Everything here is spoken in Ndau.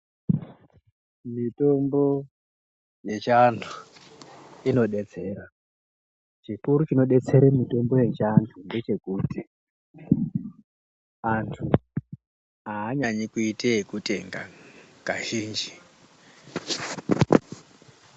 Mitombo yechiantu inodetsera. Chikuru chinodetsere mitombo yechiantu ngechekuti antu anyanyi kuite ekutenga Kazhinji.